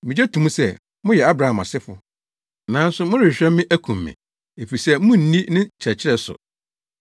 Migye to mu sɛ moyɛ Abraham asefo, nanso morehwehwɛ me akum me, efisɛ munni ne nkyerɛkyerɛ so.